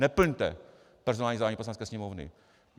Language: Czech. Neplňte personální zadání Poslanecké sněmovny.